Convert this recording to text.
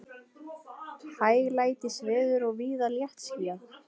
Hæglætisveður og víða léttskýjað